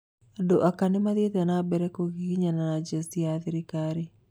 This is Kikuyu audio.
Andũ ake nimathiete na mbere kugiginyana na jeci ya thirikari